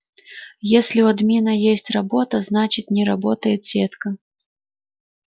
если у админа есть работа значит не работает сетка